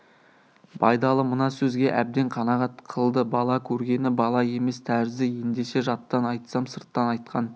байдалы мына сөзге әбден қанағат қылды бала көргені бала емес тәрізді ендеше жаттан айтсам сырттан айтқан